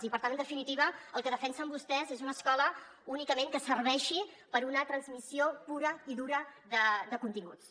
i per tant en definitiva el que defensen vostès és una escola únicament que serveixi per a una transmissió pura i dura de continguts